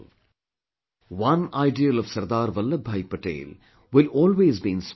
One ideal of Sardar Vallabhbhai Patel will always be inspiring to all of us